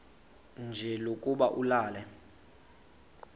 nje lokuba ulale